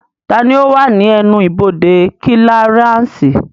Taani ó wà ní ẹnu-ibodè kílíaránsì